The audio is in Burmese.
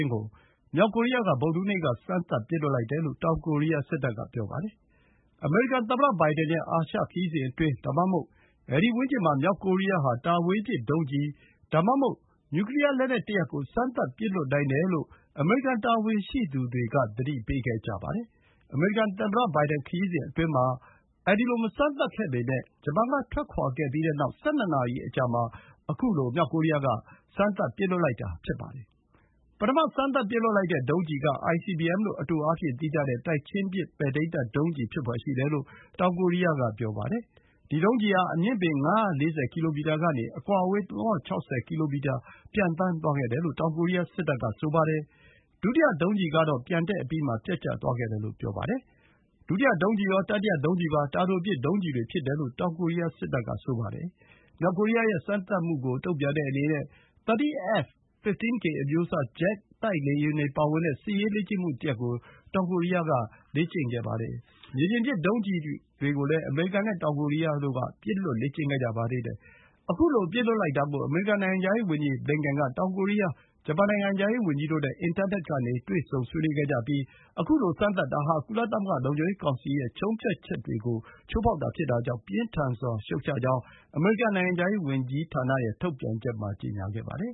င်းကို မြောက်ကိုရီးယားက ဗုဒ္ဓဟူးနေ့က စမ်းသပ်ပစ်လွှတ်လိုက်တယ်လို့ တောင်ကိုရီးယားက ပြောပါတယ်။ အမေရိကန်သမ္မတဘိုင်ဒန်ရဲ့ အာရှခရီးစဉ်အတွင်း ဒါမှမဟုတ် အဲဒီဝန်းကျင်မှာ မြောက်ကိုရီးယား ဟာ တာဝေးပစ်ဒုံးကျည် ဒါမှမဟုတ် နျူကလီယားလက်နက်ကို စမ်းသပ်ပစ်လွှတ်နိုင်တယ်လို့ အမေရိကန်တာဝန်ရှိသူတွေက သတိပေးခဲ့ကြပါတယ်။ အမေရိကန်သမ္မတဘိုင်ဒန်ရီးစဉ်အတွင်းမှာ မစမ်းသပ်ခဲ့ပေမယ့် ဂျပန်ကထွက်ခွါခဲ့ပြီးတဲ့နောက် ၁၂ နာရီ အကြာမှာ ခုလို စမ်းသပ်ပစ်လွှတ်လိုက်တာ ဖြစ်ပါတယ်။ ပထမ စမ်းသပ်ပစ်လွှတ်လိုက်တဲ့ဒုံးကျည်က ICBM လို့ အတိုအားဖြင့်သိကြတဲ့ တိုက်ချင်းပစ် ပဲ့ထိန်းတပ်ဒုံးကျည် ဖြစ်ဖွယ်ရှိတယ်လို့ တောင်ကိုရီးယားက ပြောပါတယ်။ ဒီ ဒုံးကျည်ဟာ အမြင့်ပေ ၅၄၀ ကီလိုမီတာကနေ အကွာအဝေး ၃၆၀ ကီလိုမီတာ ပျံသန်းသွားခဲ့တယ်လို့ တောင်ကိုရီးယား စစ်တပ်က ပြောပါတယ်။ ဒုတိယဒုံးကျည်ကတော့ ပျံတက်အပြီးမှာ ပျက်ကျသွားခဲ့တယ်လို့ ဆိုပါတယ်။ ဒုတိယဒုံးကျည်ရော၊ တတိယဒုံးကျည်ပါ တာတိုပစ်ဒုံးကျည်တွေဖြစ်တယ်လို့ တောင်ကိုရီးယားစစ်တပ်က ပြောပါတယ်။ မြောက်ကိုရီးယားရဲ့ စမ်းသပ်မှုကို တုံ့ပြန်တဲ့အနေနဲ့ 30 F-15K အမျိုးအစား ဂျက်တိုက်လေယာဉ်တွေပါဝင်တဲ့ စစ်ရေးလေ့ကျင့်မှုတရပ်ကို တောင်ကိုရီးယားက လေ့ကျင့်ခဲ့ပါတယ်။ မြေပြင်ပစ် ဒုံးကျည်ကိုလည်း အမေရိကန်နဲ့ တောင်ကိုရီးယားတို့က ပစ်လွှတ်လေ့ကျင့်ခဲ့ကြပါသေးတယ်။ ခုလို ပစ်လွှတ်လိုက်တာကို အမေရိကန်နိုင်ငံခြားရေးဝန်ကြီးဘလင်ကင်န်က တောင်ကိုရီးယား၊ ဂျပန်နိုင်ငံခြားရေးဝန်ကြီးတို့နဲ့ အင်တာနက်ကနေ တွေ့ဆုံဆွေးနွေးခဲ့ကြပြီး ခုလို စမ်းသပ်တာ ဟာ ကုလသမဂ္ဂလုံခြုံရေးကောင်စီရဲ့ ဆုံးဖြတ်ချက်တွေကို ချိုးဖောက်တာဖြစ်တာကြောင့် ပြင်းထန်စွာရှုတ်ချကြောင်း အမေရိကန်နိုင်ငံခြားရေးဝန်ကြီးဌာန ထုတ်ပြန်ချက်မှာ ကြေညာခဲ့ပါတယ်